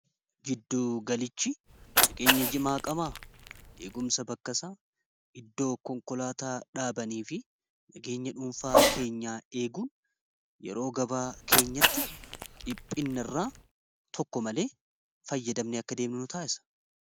jidduu galichi nageenya jimaa qama'a eegumsa bakkasaa iddoo konkolaataa dhaabanii fi nageenya dhuunfaa keenyaa eeguun yeroo gabaa keenyatti dhiphina irraa tokko malee fayyadamne akka deemnu taasisa